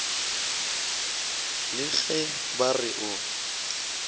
le ge ba re o